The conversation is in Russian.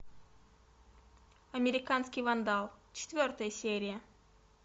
американский вандал четвертая серия